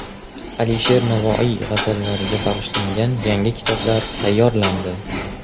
Alisher Navoiy g‘azallariga bag‘ishlangan yangi kitoblar tayyorlandi.